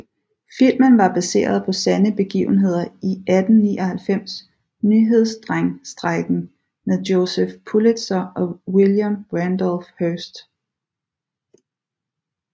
Filmen var baseret på sande begivenheder i 1899 nyhedsdrengstrejken med Joseph Pulitzer og William Randolph Hearst